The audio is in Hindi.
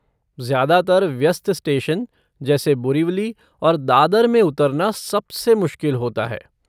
ज्यादातर व्यस्त स्टेशन जैसे बोरिवली और दादर में उतरना सबसे मुश्किल होता है।